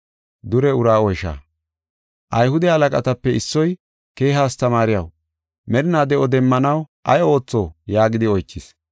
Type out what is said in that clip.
Ayhude halaqatape issoy, “Keeha astamaariyaw, merina de7o demmanaw ay ootho?” yaagidi oychis.